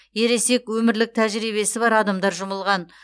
ересек өмірлік тәжірибесі бар адамдар жұмылған